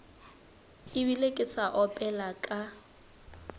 ebile ke sa opela ka